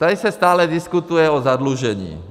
Tady se stále diskutuje o zadlužení.